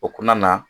O kumana na